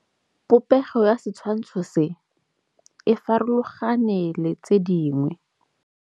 Popêgo ya setshwantshô se, e farologane le tse dingwe.